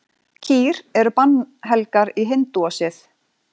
Kýr eru bannhelgar í hindúasið.